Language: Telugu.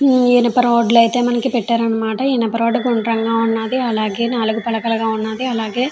ఈ ఇనప రాడ్లు అయితే మనకి పెట్టారనమాట. ఈ ఇనుప రాడ్లు గుండ్రంగా ఉన్నాయి. అలాగే నాలుగు పలకలుగా ఉన్నాది అలాగే --